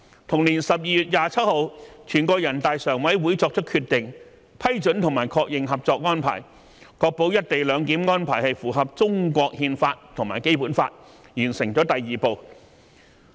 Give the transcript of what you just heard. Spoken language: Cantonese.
同年12月27日，全國人大常委會作出決定，批准及確認《合作安排》，確保"一地兩檢"安排符合《中華人民共和國憲法》及《基本法》，完成第二步。